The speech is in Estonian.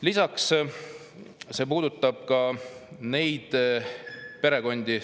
Lisaks puudutab see seaduseelnõu …